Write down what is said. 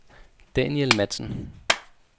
Daniel Matzen